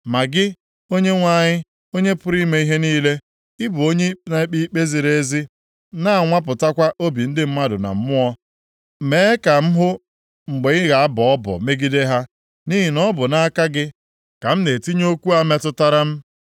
Ma gị, Onyenwe anyị, Onye pụrụ ime ihe niile, ị bụ onye na-ekpe ikpe ziri ezi, na-anwapụtakwa obi mmadụ na mmụọ ya. Mee ka m hụ mgbe ị ga-abọ ọbọ megide ha, nʼihi na ọ bụ nʼaka gị ka m na-etinye okwu a metụtara m.